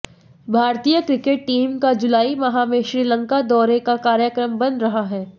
भारतीय cricket team का जुलाई माह में श्रीलंका दौरे का कार्यक्रम बन रहा है